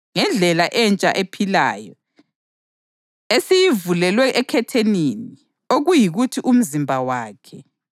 Ngakho-ke, bazalwane, njengoba silethemba lokungena eNdaweni eNgcwelengcwele ngegazi likaJesu,